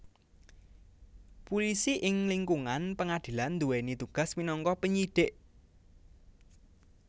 Pulisi ing lingkungan pengadilan nduwèni tugas minangka penyidik